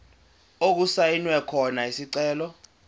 okusayinwe khona isicelo